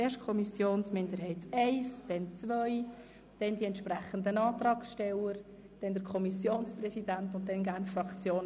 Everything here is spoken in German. Zuerst die Kommissionsminderheit I, dann die Kommissionsminderheit II, anschliessend die entsprechenden Antragssteller gefolgt vom Kommissionspräsidenten und den Fraktionen.